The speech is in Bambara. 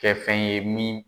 Kɛ fɛn ye min